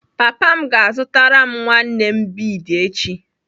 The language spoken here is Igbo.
Papa m ga-azụtara m nwanne m bead echi.